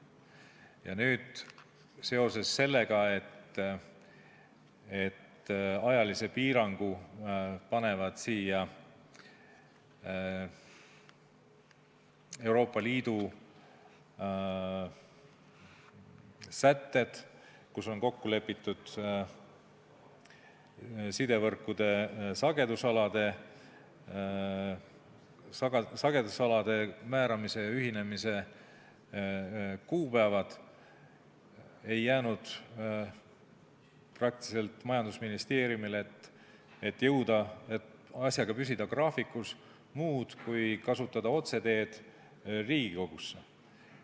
Ja nüüd seoses sellega, et ajalise piirangu panevad Euroopa Liidu sätted, milles on kokku lepitud sidevõrkude sagedusalade määramise ja ühinemise kuupäevad, ei jäänud majandusministeeriumil, et asjaga graafikus püsida, muud üle kui kasutada otseteed Riigikogusse.